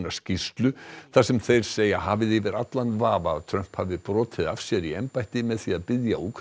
skýrslu þar sem þeir segja hafið yfir allan vafa að Trump hafi brotið af sér í embætti með því að biðja